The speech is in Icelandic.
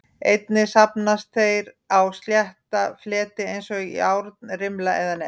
Einnig safnast þeir á slétta fleti eins og járnrimla eða net.